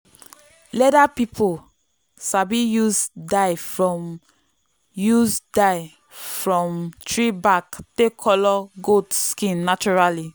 leather people sabi use dye from use dye from tree bark take colour goat skin naturally.